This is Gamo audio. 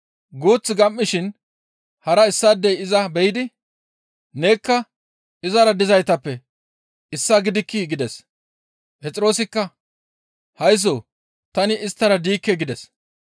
Guuth gam7ishin hara issaadey iza be7idi, «Nekka izara dizaytappe issaa gidikkii?» gides. Phexroosikka, «Haysso tani isttara diikke!» gides.